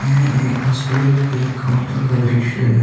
यह एक हॉस्पिटल के काउंटर का दृश्य है।